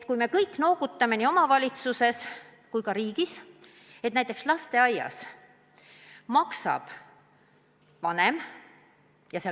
Me kõik noogutame nii omavalitsustes kui ka kogu riigis, et loomulikult lasteaiatasu maksab vanem.